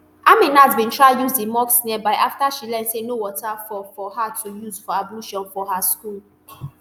aminat bin try use di mosque nearby afta she learn say no water for for her to use for ablution for her school